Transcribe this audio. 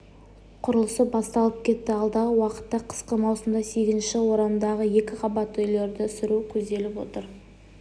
құрылысы басталып кетті алдағы уақытта қысқы маусымда сегізінші орамдағы екі қабатты үйлерді сүру көзделіп отыр